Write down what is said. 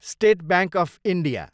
state bank of India